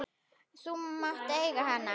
Þú mátt eiga hana!